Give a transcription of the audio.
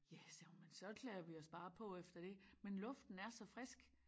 Ja sagde hun men så klæder vi os bare på efter det men luften er så frisk